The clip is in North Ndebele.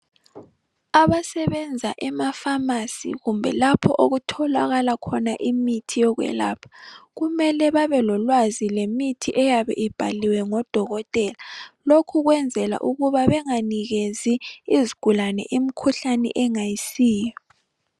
Abasebenza emafamasi kumbe lapho okutholakala imithi yokwelapha kumele babelolwazi ngemithi eyabe ibhalwe ngodokotela lokhu kwenzela ukuba benganikezi izigulane imkhuhlane engayisiyo.